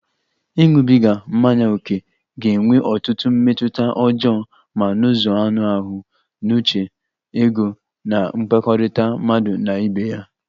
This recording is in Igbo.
Ịṅụbiga mmanya ókè ga-enwe ọtụtụ mmetụta ọjọọ ma n'ụzọ anụ ahụ, n'uche, ego na mmekọrịta mmadụ na ibe ya